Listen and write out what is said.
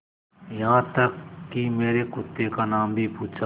यहाँ तक कि मेरे कुत्ते का नाम भी पूछा